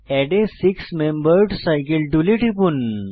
add a six membered cycle টুলে টিপুন